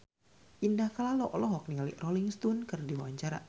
Indah Kalalo olohok ningali Rolling Stone keur diwawancara